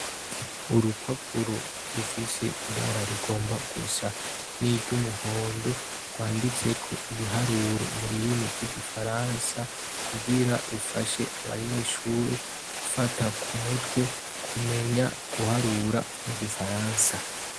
Urupapuro rufise ibara rigomba gusa n'iryo umuhondo rwanditseko ibiharuro mu rurimi rw'igifaransa kugira rufashe abanyeshuri gufata ku mutwe kumenya guharura mu gifaransa.